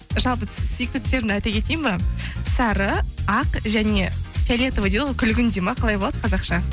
жалпы сүйікті түстерімді айта кетейін бе сары ақ және фиолетовый дейді ғой күлгін дейді ме қалай болады қазақша